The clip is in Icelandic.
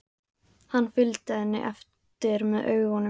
Hann fylgdi henni eftir með augunum.